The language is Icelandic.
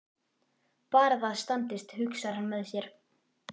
Bara það standist, hugsar hann með sér.